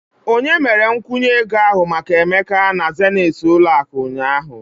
Onye mere nkwụnye ego ahụ maka emeka na zenith ụlọ akụ ụnyahụ?